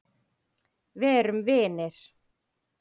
Verum vinir.